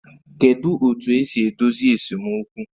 Kedu otu esi edozi esemokwu?